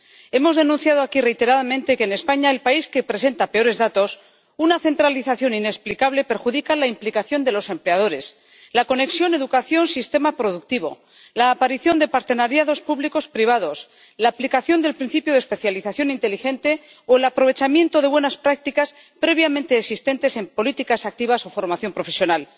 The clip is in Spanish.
Hemos denunciado aquí reiteradamente que, en España —el país que presenta peores datos—, una centralización inexplicable perjudica la implicación de los empleadores, la conexión educación sistema productivo, la aparición de partenariados público privados, la aplicación del principio de especialización inteligente o el aprovechamiento de buenas prácticas previamente existentes en políticas activas o formación profesional.